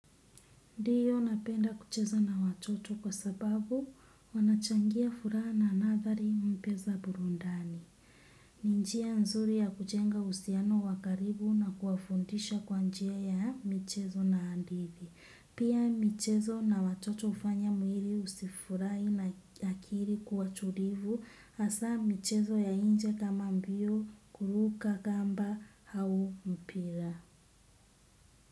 Ndio napenda kucheza na watoto kwa sababu wanachangia furaha na nathari mpya za burundani. Ni njia nzuri ya kujenga uhusiano wa karibu na kuwafundisha kwa njia ya mchezo na hadithi. Pia michezo na watoto hufanya mwili usifurahi na akili kuwa tulivu hasa michezo ya nje kama mbio, kuruka kamba au mpira.